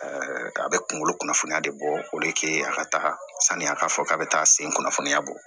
a bɛ kungolo kunnafoniya de bɔ o de kɛ a ka taga saniya k'a fɔ k'a be taa a sen kunnafoniya bɔ